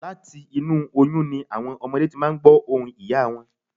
Láti inú oyún ni àwọn ọmọdé ti máà ń gbọ̀ ohùn ìyá wọn